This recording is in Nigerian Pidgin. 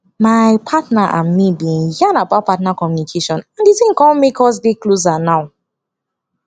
my partner and me been yan about partner communication and the thing come make us dey closer now